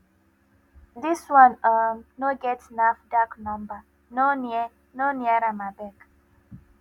this one um no get nafdac number no near no near am abeg